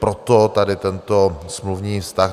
Proto tady tento smluvní vztah.